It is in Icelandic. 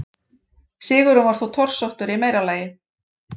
Sigurinn var þó torsóttur í meira lagi.